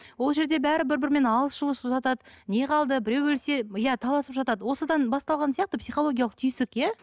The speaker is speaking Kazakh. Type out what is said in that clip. ол жерде бәрі бір бірімен алысып жұлысып жатады не қалды біреу өлсе иә таласып жатады осыдан басталған сияқты психологиялық түйсік иә